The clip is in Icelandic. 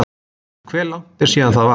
Hve langt er síðan það var?